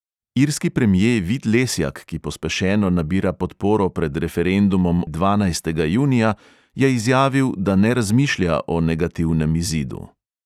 Irski premje vid lesjak, ki pospešeno nabira podporo pred referendumom o lizbonski reformni pogodbi dvanajstega junija, je izjavil, da ne razmišlja o negativnem izidu.